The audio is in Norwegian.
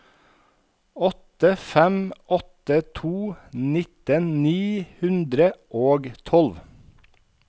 åtte fem åtte to nitten ni hundre og tolv